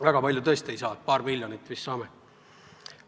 Väga palju tõesti ei saa, paar miljonit vist saame.